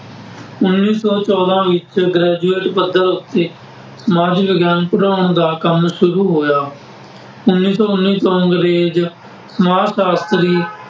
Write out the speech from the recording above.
ਉੱਨੀ ਸੌ ਚੋਦਾਂ ਵਿੱਚ ਗ੍ਰੈਜ਼ੂਏਟ ਪੱਧਰ ਉੱਤੇ ਸਮਾਜ ਵਿਗਿਆਨ ਪੜ੍ਹਾਉਣ ਦਾ ਕੰਮ ਸ਼ੁਰੂ ਹੋਇਆ। ਉੱਨੀ ਸੌ ਉੱਨੀ ਤੋਂ ਅੰਗਰੇਜ਼ ਸਮਾਜ ਸਾਸ਼ਤਰੀ